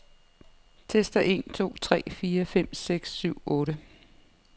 Tester en to tre fire fem seks syv otte.